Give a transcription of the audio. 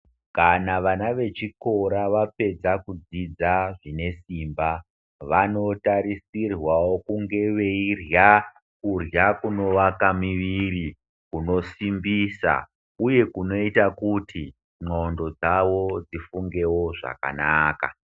Kana vana vechikora vapedza kudzidza zvinesimba vanotarisirwawo kunge veirya kurya kunovaka miviri, kunosimbisa uye kunoita kuti ndxondo dzavo dzifungewo zvakanaka.